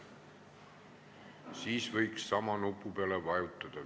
Siis võiks veel ühe korra sama nupu peale vajutada.